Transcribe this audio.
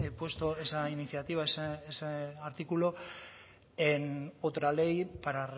puesto esa iniciativa ese artículo en otra ley para